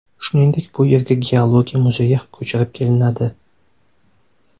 Shuningdek, bu yerga Geologiya muzeyi ko‘chirib kelinadi.